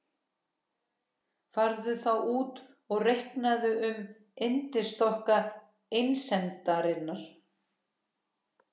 Farðu þá út og reikaðu um yndisþokka einsemdarinnar.